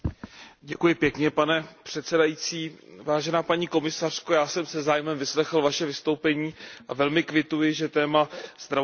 Vážená paní komisařko, já jsem se zájmem vyslechl vaše vystoupení a velmi kvituji, že téma zdravotně postižených je důležitým tématem.